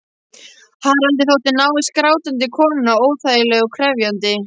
Haraldi þótti návist grátandi konunnar óþægileg og krefjandi.